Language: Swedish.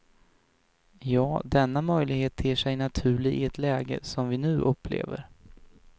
Ja, denna möjlighet ter sig naturlig i ett läge som vi nu upplever.